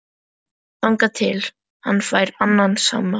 Þangað til hann fær annan samastað